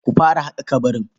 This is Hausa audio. Ku fara haƙa ƙabarin.